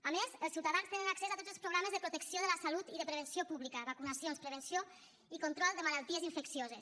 a més els ciutadans tenen accés a tots els programes de protecció de la salut i de prevenció pública vacunacions i prevenció i control de malalties infeccioses